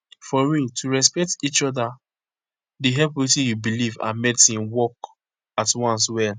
for real to respect each oda dey help wetin u belief and medicine work at once well